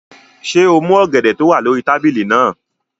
Ṣé o mú ọ̀gẹ̀dẹ̀ tó wà lórí tábìlì náà?